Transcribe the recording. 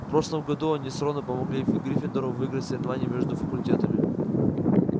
в прошлом году они с роном помогли гриффиндору выиграть соревнование между факультетами